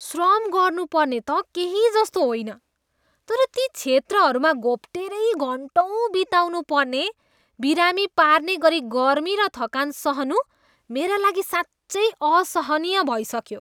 श्रम गर्नुपर्ने त केही जस्तो होइन, तर ती क्षेत्रहरूमा घोप्टेरै घन्टौँ बिताउनु पर्ने, बिरामी पार्ने गरी गर्मी र थकान सहनु मेरा लागि साँच्चै असहनीय भइसक्यो।